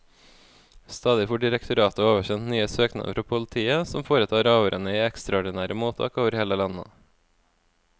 Stadig får direktoratet oversendt nye søknader fra politiet, som foretar avhørene i ekstraordinære mottak over hele landet.